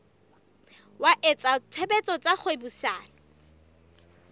wa etsa tshebetso tsa kgwebisano